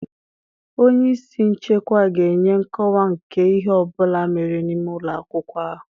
Onye isi nchekwa ga-enye nkọwa nke ihe ọ bụla mere n'ime ụlọ akwụkwọ ahụ.